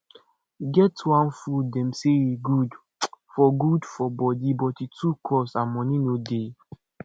e get one fruit dem say e good for good for body but e too cost and money no dey